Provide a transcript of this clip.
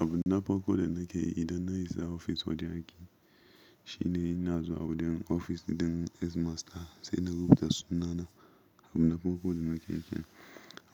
Abu na farko da nake yi idan na isa ofis wajen aiki shine in na zuwa wajen ofis ɗin Headmaster sai na rubuta sunana. Abu na farko da nake yi kenan.